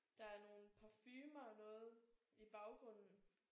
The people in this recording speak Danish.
Der er nogen parfumer og noget i baggrunden